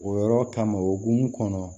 O yɔrɔ kama okumu kɔnɔ